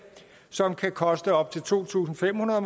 som kan koste op til to tusind fem hundrede